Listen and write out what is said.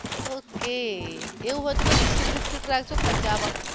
okay એવું હોઈ તો બિસ્કિટ વીસ્કીટ રાખજો ખર્ચમાં.